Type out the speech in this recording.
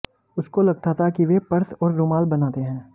उसको लगता था कि वे पर्स और रुमाल बनाते हैं